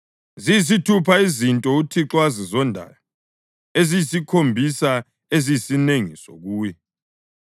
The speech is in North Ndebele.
Ziyisithupha izinto uThixo azizondayo, eziyisikhombisa eziyisinengiso kuye: